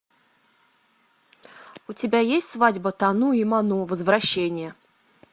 у тебя есть свадьба тану и ману возвращение